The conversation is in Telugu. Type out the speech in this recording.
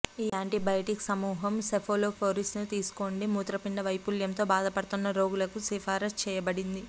ఈ యాంటీబయాటిక్స్ సమూహం సెఫాలోస్పోరిన్స్ తీసుకోండి మూత్రపిండ వైఫల్యంతో బాధపడుతున్న రోగులకు సిఫార్సు చేయబడింది